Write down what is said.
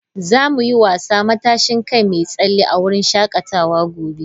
Za mu yi wasa " matashin kai mai tsalle " a wurin shakatawa gobe.